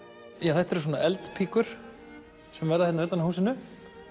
þetta eru svona eldpíkur sem verða utan á húsinu